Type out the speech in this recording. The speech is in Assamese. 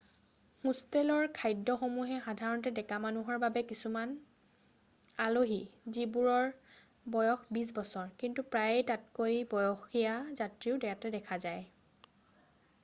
হোষ্টেলৰ খাদ্য সমূহ সাধাৰণতে ডেকা মানুহৰ বাবে কিছুমান আলহী যিবোৰৰ বয়স বিছ বছৰ কিন্তু প্ৰায়ে তাতকৈ বয়সীয়া যাত্ৰীও তাতে দেখা যায়